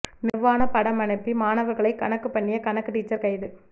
நிர்வாண படம் அனுப்பி மாணவர்களை கணக்குப் பண்ணிய கணக்கு டீச்சர் கைது